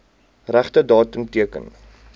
regte datum teken